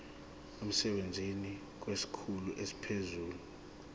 emsebenzini kwesikhulu esiphezulu